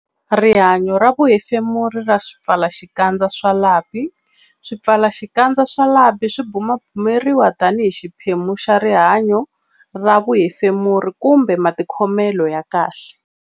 Rihanyo ra vuhefemuri ra swipfalaxikandza swa lapi Swipfalaxikandza swa lapi swi bumabumeriwa tanihi xiphemu xa rihanyo ra vuhefemuri kumbe matikhomelo ya kahle.